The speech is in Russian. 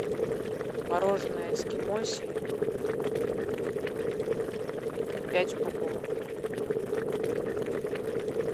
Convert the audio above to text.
мороженое эскимосия пять упаковок